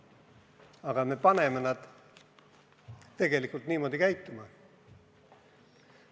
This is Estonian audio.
Aga me peaksime nad tegelikult targemalt käituma panema.